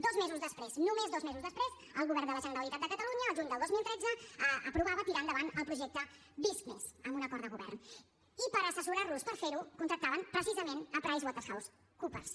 dos mesos després només dos mesos després el govern de la generalitat de catalunya al juny del dos mil tretze aprovava tirar endavant el projecte visc+ amb un acord de govern i per assessorar los per fer ho contractaven precisament pricewaterhousecoopers